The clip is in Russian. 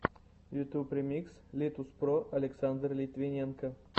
ютуб ремикс литуспро александр литвиненко